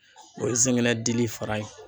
O ye zɛngɛnɛ dili fara ye.